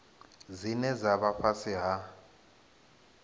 dzine dza vha fhasi ha